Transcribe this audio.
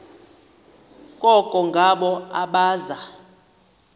koko ngabo abaza